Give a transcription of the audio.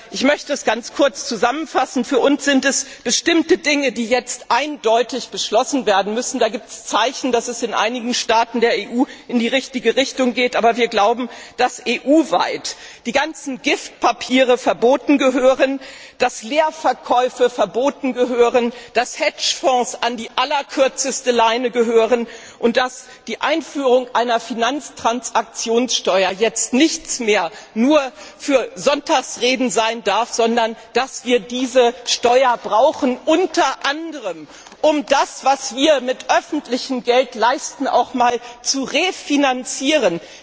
Ich möchte es ganz kurz zusammenfassen Für uns müssen nun bestimmte Dinge eindeutig beschlossen werden, es gibt Zeichen, dass es in einigen Staaten der EU in die richtige Richtung geht, aber wir glauben, dass die ganzen Gift Papiere und Leerverkäufe EU weit verboten werden müssen, dass Hedgefonds an die allerkürzeste Leine gehören und dass die Einführung einer Finanztransaktionssteuer jetzt nichts mehr nur für Sonntagsreden sein darf, sondern dass wir diese Steuer brauchen, unter anderem, um das, was wir mit öffentlichem Geld leisten, auch zu refinanzieren.